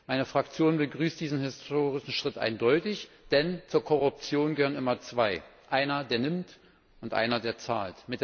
Meine Fraktion begrüßt diesen historischen Schritt eindeutig, denn zur Korruption gehören immer zwei. Einer, der nimmt, und einer, der zahlt.